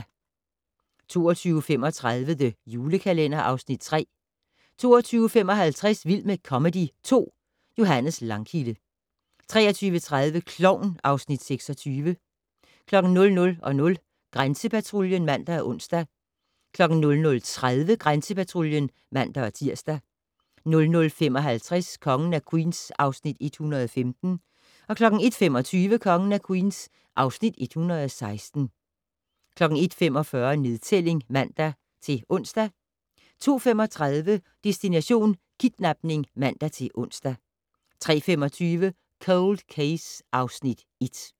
22:35: The Julekalender (Afs. 3) 22:55: Vild med comedy 2 - Johannes Langkilde 23:30: Klovn (Afs. 26) 00:00: Grænsepatruljen (man og ons) 00:30: Grænsepatruljen (man-tir) 00:55: Kongen af Queens (Afs. 115) 01:25: Kongen af Queens (Afs. 116) 01:45: Nedtælling (man-ons) 02:35: Destination: Kidnapning (man-ons) 03:25: Cold Case (Afs. 1)